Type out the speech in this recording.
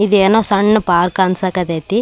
ಇದ್ ಏನೋ ಸಣ್ಣ ಪಾರ್ಕ್ ಅನ್ಸೋಕಹತೈತಿ.